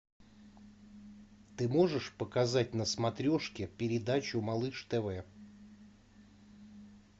ты можешь показать на смотрешке передачу малыш тв